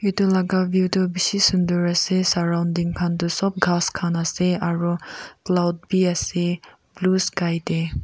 tu laga view tu bishi sundar ase surrounding khan tu sop ghas khan ase aro cloud bi ase blue sky dey.